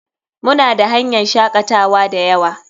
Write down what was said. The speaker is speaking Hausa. Muna da hanyan shakatawa dayawa.